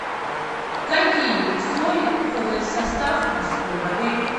какие соли входят в состав морской воды